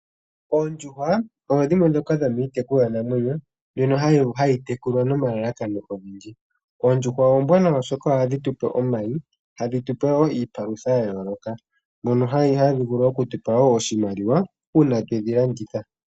Oondjuhwa odho dhimwe ndhoka dho miitekulwa namwenyo, mbyono hayi tekulwa nomalalakano ogendji. Oondjuhwa ombwaanawa oshoka ohadhi tu pe omayi, ohadhi tu pe wo iipalutha ya yooloka mono hadhi vulu oku tupa iimaliwa uuna twedhi landitha po.